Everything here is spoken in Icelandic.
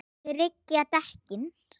Tryggja dekkin?